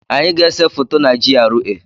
Anyị ga-ese foto na GRA.